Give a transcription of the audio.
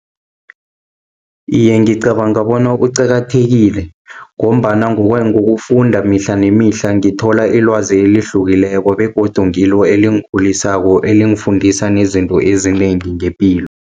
Iye, ngicabanga bona kuqakathekile, ngombana ngokufunda mihla nemihla, ngithola ilwazi elihlukileko, begodu ngilo elingikhulisako, elingifundisa nezinto ezinengi ngepilo.